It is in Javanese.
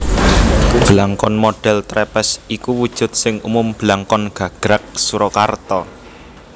Blangkon modhèl trèpès iku wujud sing umum blangkon gagrag Surakarta